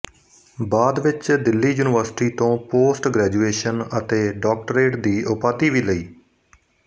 ਬਾਅਦ ਵਿੱਚ ਦਿੱਲੀ ਯੂਨੀਵਰਸਿਟੀ ਤੋਂ ਪੋਸਟਗ੍ਰੈਜੁਏਸ਼ਨ ਅਤੇ ਡਾਕਟਰੇਟ ਦੀ ਉਪਾਧੀ ਵੀ ਲਈ